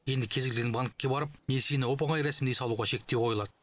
енді кез келген банкке барып несиені оп оңай рәсімдей салуға шектеу қойылады